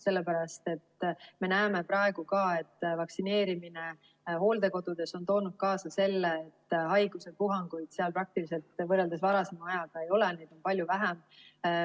Sellepärast, et me näeme praegu ka, et vaktsineerimine hooldekodudes on toonud kaasa selle, et haiguspuhanguid seal praktiliselt võrreldes varasema ajaga ei ole, neid on palju vähem.